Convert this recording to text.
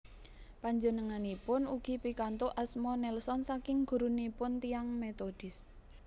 Panjenenganipun ugi pikantuk asma Nelson saking gurunipun tiyang Metodis